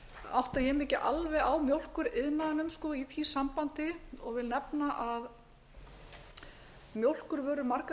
átta ég mig ekki alveg á mjólkuriðnaðinum í því sambandi og vil nefna að mjólkurvörur margar